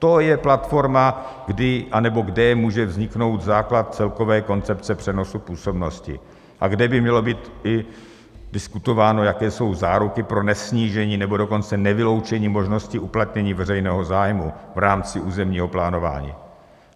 To je platforma, kdy a nebo kde může vzniknout základ celkové koncepce přenosu působnosti a kde by mělo být i diskutováno, jaké jsou záruky pro nesnížení nebo dokonce nevyloučení možností uplatnění veřejného zájmu v rámci územního plánování.